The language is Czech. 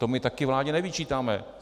To my taky vládě nevyčítáme.